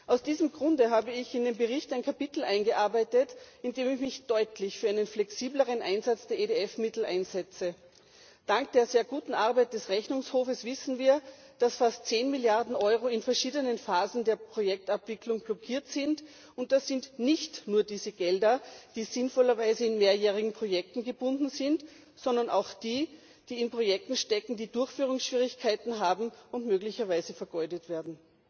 Aus diesem Grunde habe ich in den Bericht ein Kapitel eingearbeitet, in dem ich mich deutlich für einen flexibleren Einsatz der EDF Mittel einsetze. Dank der sehr guten Arbeit des Rechnungshofs wissen wir, dass fast zehn Milliarden Euro in verschiedenen Phasen der Projektabwicklung blockiert sind, und das sind nicht nur die Gelder, die sinnvollerweise in mehrjährigen Projekten gebunden sind, sondern auch diejenigen, die in Projekten stecken, die Durchführungsschwierigkeiten haben und möglicherweise vergeudet werden.